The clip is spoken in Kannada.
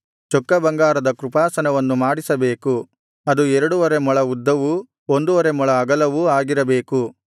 ಚೊಕ್ಕ ಬಂಗಾರದ ಕೃಪಾಸನವನ್ನು ಮಾಡಿಸಬೇಕು ಅದು ಎರಡುವರೆ ಮೊಳ ಉದ್ದವು ಒಂದುವರೆ ಮೊಳ ಅಗಲವೂ ಆಗಿರಬೇಕು